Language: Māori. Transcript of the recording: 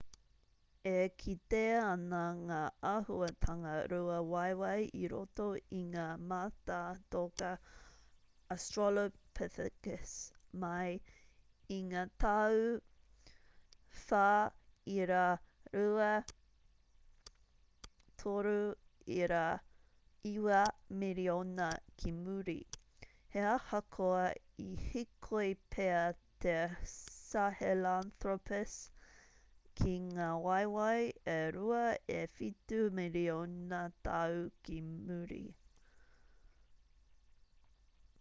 e kitea ana ngā āhuatanga rua-waewae i roto i ngā mātātoka australopithecus mai i ngā tau 4.2-3.9 miriona ki muri he ahakoa i hīkoi pea te sahelanthropus ki ngā waewae e rua e whitu miriona tau ki muri